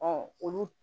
olu